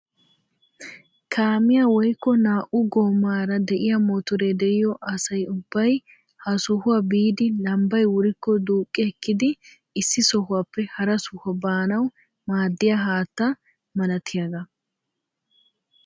kaamiyaa woykko naa"u goomaara de'iyaa motoree de'iyoo asa ubbay ha sohuwaa biidi lambbay wurikko duuqqi ekkidi issi sohuwaappe hara sohuwaa baanawu maaddiyaa haatta malatiyaagaa.